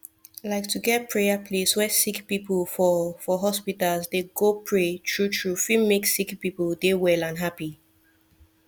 like to get prayer place where sicki pipu for for hospitas dey go pray tru tru fit make sicki pple dey well and happy